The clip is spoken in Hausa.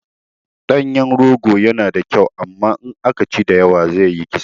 Ɗanyen rogo yana da kyau amma in aka ci da yawa zai yi kisa